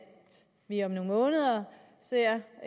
vi om nogle måneder ser